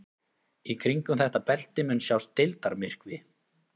Í kringum þetta belti mun sjást deildarmyrkvi.